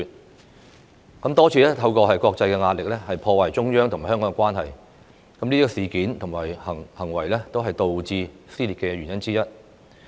他們多次透過國際壓力，破壞中央和香港的關係，這些事件和行為均是導致社會撕裂的原因之一。